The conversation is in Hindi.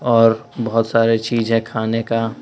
और बहोत सारे चीज है खाने का।